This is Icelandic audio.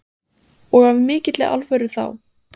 Erla Hlynsdóttir: Og af mikilli alvöru þá?